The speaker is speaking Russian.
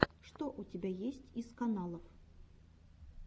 что у тебя есть из каналов